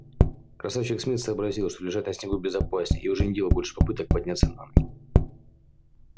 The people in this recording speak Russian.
красавчик смит сообразил что лежать на снегу безопаснее и уже не делал больше попыток подняться на ноги